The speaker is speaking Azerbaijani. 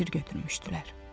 Əsir götürmüşdülər.